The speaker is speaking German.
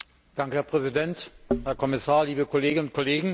Herr Präsident, Herr Kommissar, liebe Kolleginnen und Kollegen!